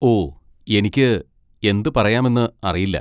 ഓ, എനിക്ക് എന്ത് പറയാമെന്ന് അറിയില്ല.